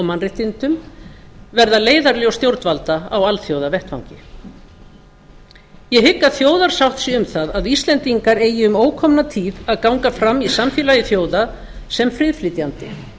mannréttindum verða leiðarljós stjórnvalda á alþjóðavettvangi ég hygg að þjóðarsátt sé um það að íslendingar eigi um ókomna tíð að ganga fram í samfélagi þjóða sem friðflytjandi